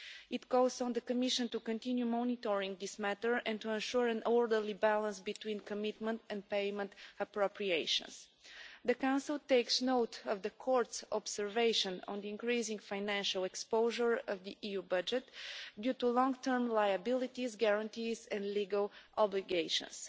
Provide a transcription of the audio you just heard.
It calls on the Commission to continue monitoring this matter and to ensure an orderly balance between commitment and payment appropriations. The Council takes note of the Court's observation on the increasing financial exposure of the EU budget, due to long term liabilities, guarantees and legal obligations.